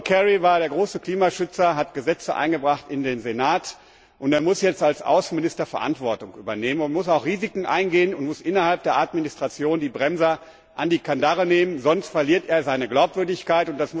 Er war der große Klimaschützer, hat Gesetze eingebracht in den Senat, und er muss jetzt als Außenminister Verantwortung übernehmen und muss auch Risiken eingehen und muss innerhalb der Administration die Bremser an die Kandare nehmen, sonst verliert er seine Glaubwürdigkeit.